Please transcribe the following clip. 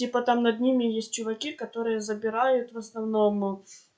типа там над ними есть чуваки которые забирают в основном